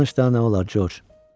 Danış da, nə olar, Corc.